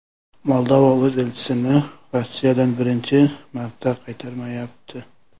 Moldova o‘z elchisini Rossiyadan birinchi marta qaytarmayapti.